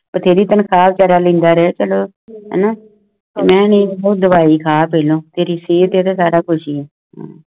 ਬਥੇਰੀ ਤਨਖਾਹ ਵਿਚਾਰਾ ਰਹਿ ਚਲੋ ਮੇਂ ਨਹੀਂ ਡਾਵਾਯੀ ਖਾ ਪਹਿਲੋਂ ਤੇ ਸਾਰਾ ਕੁਛ ਹੈ